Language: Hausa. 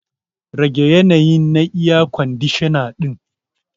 Rage yanayi na air kwandishana din.